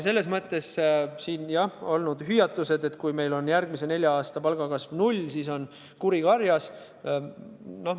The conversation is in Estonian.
Siin on kostnud hüüatused, et kui meil järgmise nelja aasta palgakasv on null, siis on kuri karjas.